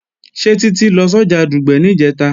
Ṣé Títí lọ sọ́jà Dùgbẹ̀ níjẹ̀ta?